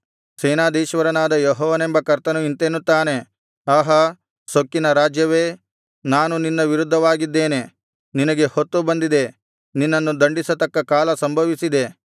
ಸೇನಾಧೀಶ್ವರನಾದ ಯೆಹೋವನೆಂಬ ಕರ್ತನು ಇಂತೆನ್ನುತ್ತಾನೆ ಆಹಾ ಸೊಕ್ಕಿನ ರಾಜ್ಯವೇ ನಾನು ನಿನ್ನ ವಿರುದ್ಧವಾಗಿದ್ದೇನೆ ನಿನಗೆ ಹೊತ್ತು ಬಂದಿದೆ ನಿನ್ನನ್ನು ದಂಡಿಸತಕ್ಕ ಕಾಲ ಸಂಭವಿಸಿದೆ